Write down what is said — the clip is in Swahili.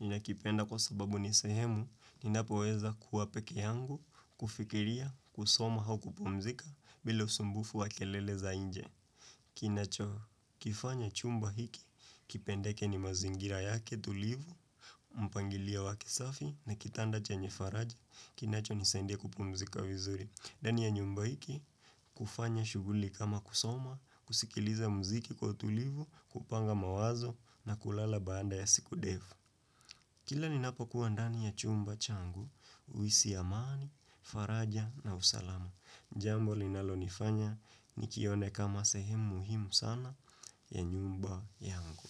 Nina kipenda kwa sababu ni sehemu, ninapoweza kuwa pekee yangu, kufikiria, kusoma au kupomzika bila usumbufu wa kelele za inje. Kinacho, kifanya chumba hiki, kipendeke ni mazingira yake, tulivu, mpangilio wa kisafi na kitanda chenye faraja, kinacho nisaidia kupumzika vizuri. Ndani ya nyumba hiki, kufanya shughuli kama kusoma, kusikiliza mziki kwa tulivu, kupanga mawazo na kulala baada ya siku ndefu. Kila ninapokua ndani ya chumba changu, huhisi amani, faraja na usalama. Jambo linalo nifanya, nikione kama sehemu muhimu sana ya nyumba yangu.